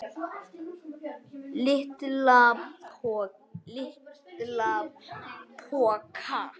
LITLA POKA!